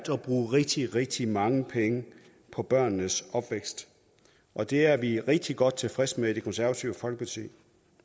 bruge rigtig rigtig mange penge på børnenes opvækst og det er vi rigtig godt tilfredse med i det konservative folkeparti